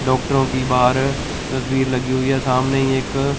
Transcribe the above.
डॉक्टरों की बाहर तस्वीर लगी हुई है सामने ही एक--